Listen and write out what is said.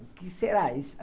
O que será isso?